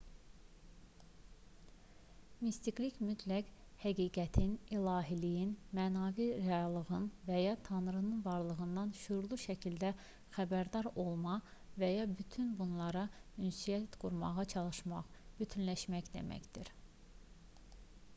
mistiklik mütləq həqiqətin ilahiliyin mənəvi reallığın və ya tanrının varlığından şüurlu şəkildə xəbərdar olma və ya bütün bunlarla ünsiyyət qurmağa çalışmaq bütünləşmək deməkdir